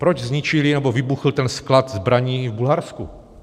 Proč zničili nebo vybuchl ten sklad zbraní v Bulharsku?